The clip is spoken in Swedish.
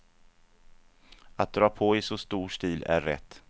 Att dra på i så stor stil är rätt.